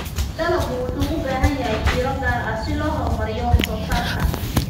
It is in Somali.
Dalaggu wuxuu u baahan yahay fiiro gaar ah si loo horumariyo wax soo saarka.